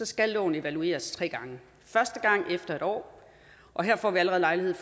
skal loven evalueres tre gange første gang efter en år og her får vi allerede lejlighed